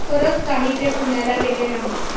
परत काही ते पुण्याला गेले नाहीत.